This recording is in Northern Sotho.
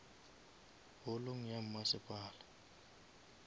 holong ya masepala